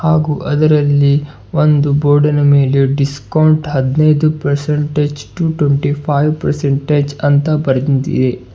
ಹಾಗೂ ಅದರಲ್ಲಿ ಒಂದು ಬೋರ್ಡಿನ ಮೇಲೆ ಡಿಸ್ಕೌಂಟ್ ಹದನೈದು percentage to twenty five percentage ಅಂತ ಬರ್ದಿಂದಿದೆ.